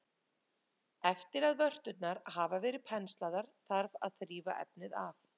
Eftir að vörturnar hafa verið penslaðar þarf að þrífa efnið af.